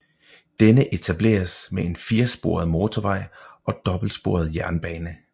Denne etableres med en firesporet motorvej og dobbeltsporet jernbane